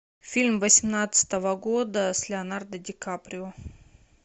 фильм восемнадцатого года с леонардо ди каприо